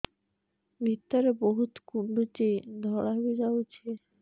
ଭିତରେ ବହୁତ କୁଣ୍ଡୁଚି ଧଳା ବି ଯାଉଛି